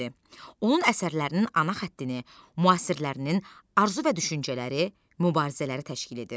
Onun əsərlərinin ana xəttini müasirlərinin arzu və düşüncələri, mübarizələri təşkil edir.